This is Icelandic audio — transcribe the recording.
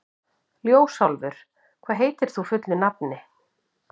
Ljósálfur, hvað heitir þú fullu nafni?